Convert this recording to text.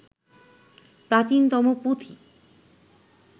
প্রাচীনতম পুঁথি